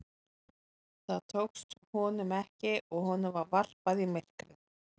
Það tókst honum ekki og honum var varpað í myrkrið.